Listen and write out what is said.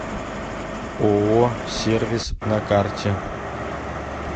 ооо сервис на карте